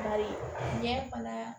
Bari ɲɛ fana